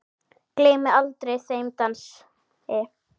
Gleymi aldrei þeim dansi.